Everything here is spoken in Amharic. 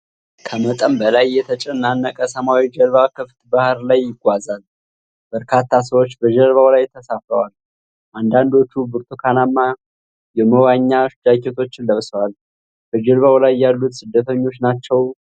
ከመጠን በላይ የተጨናነቀ ሰማያዊ ጀልባ ክፍት ባህር ላይ ይጓዛል። በርካታ ሰዎች በጀልባው ላይ ተሳፍረዋል፤ አንዳንዶቹ ብርቱካናማ የመዋኛ ጃኬቶችን ለብሰዋል። በጀልባው ላይ ያሉት ስደተኞች ናቸው?